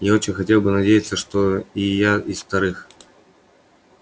я очень хотел бы надеяться что и я из вторых